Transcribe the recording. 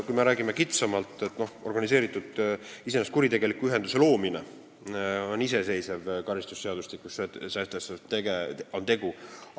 Kui me räägime kitsamalt, siis tuleb öelda, et kuritegeliku ühenduse loomine on karistusseadustikus sätestatud iseseisev tegu.